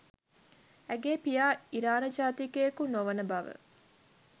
ඇගේ පියා ඉරාන ජාතිකයෙකු නොවන බව